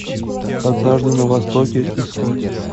однажды на востоке искать